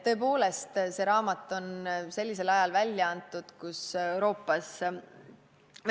Tõepoolest, see raamat on sellisel ajal välja antud, kui Euroopas ...